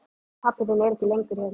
Pabbi þinn er ekki lengur hér.